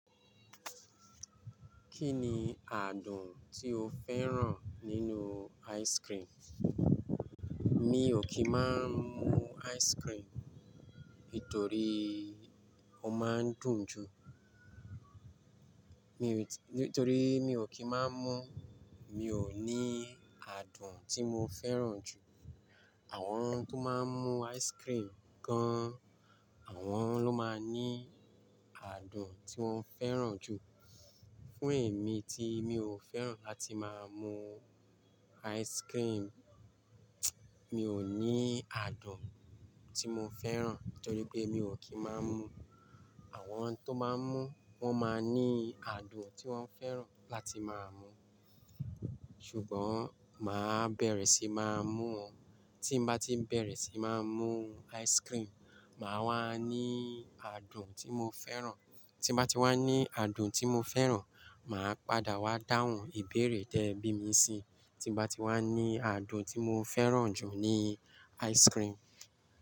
Kí ni adùn tí o fẹ́ràn nínú ice cream? Mi ò kí ń má mú ice cream, nitorí ó máa ń dùn jù. Nítorí mi ò kí má mú, mi ò ní adùn tí mo fẹ́ràn jù. Àwọn tó máa ń mú ice cream gan, àwọn ló máa ní adùn tí wọ́n fẹ́ràn jù. Fún èmi tí mi ò fẹ́ràn láti máa mú ice cream, mi ò ní adùn tí mo fẹ́ràn, torí pé mi ò kí ń máa mú. Àwọn tó máa ń mú, wọ́n máa ní adùn tí wọ́n fẹ́ràn láti máa mú. Ṣùgbọ́n máa bẹ̀rẹ̀ sí máa mú ọ́, tí bá ti bẹ̀rẹ̀ sí máa mú ice cream, màá wá ní adùn tí mo fẹ́ràn. Tí bá ti wá ní adùn tí mo fẹ́ràn, màá padà wá dáhùn ìbéèrè tẹ bí mi ṣe. Tí bá ti wá ní adùn tí mo fẹ́ràn jù ní ice cream.